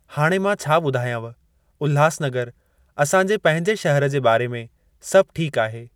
हाणे मां छा ॿुधायाव, उल्हासनगर असां जे पंहिंजे शहर जे बारे में, सभु ठीक आहे!